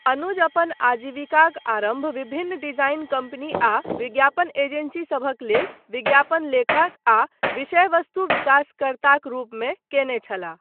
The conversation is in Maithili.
अनुज अपन आजीविकाक आरम्भ विभिन्न डिजाइन कम्पनी आ विज्ञापन एजेन्सी सभक लेल विज्ञापन लेखक आ विषय वस्तु विकासकर्त्ताक रूपमे कयने छलाह।